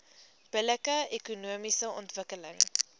billike ekonomiese ontwikkeling